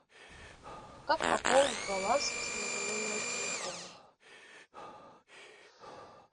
как пополнить баланс своего номера телефона